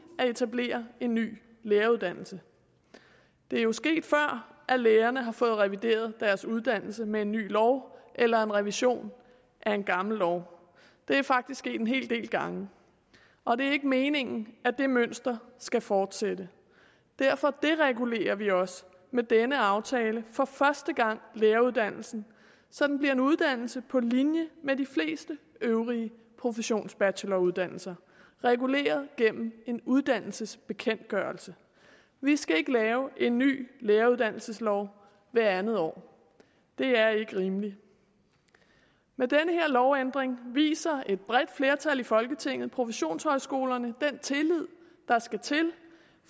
at etablere en ny læreruddannelse det er jo sket før at lærerne har fået revideret deres uddannelse med en ny lov eller en revision af en gammel lov det er faktisk sket en hel del gange og det er ikke meningen at det mønster skal fortsætte derfor deregulerer vi også med denne aftale for første gang læreruddannelsen så den bliver en uddannelse på linje med de fleste øvrige professionsbacheloruddannelser reguleret gennem en uddannelsesbekendtgørelse vi skal ikke have en ny læreruddannelseslov hvert andet år det er ikke rimeligt med den her lovændring viser et bredt flertal i folketinget professionshøjskolerne den tillid der skal til